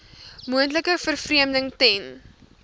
moontlike vervreemding ten